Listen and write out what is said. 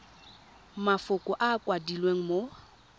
mafoko a a kwadilweng mo